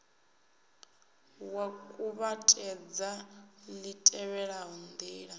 wa kuvhatedza li tevhelaho ndila